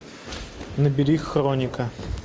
набери хроника